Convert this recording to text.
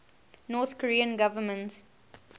north korean government